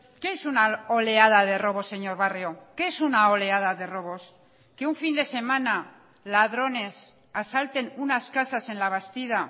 qué es una oleada de robos señor barrio qué es una oleada de robos que un fin de semana ladrones asalten unas casas en labastida